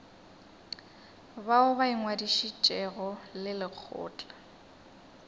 bao ba ingwadišitšego le lekgotla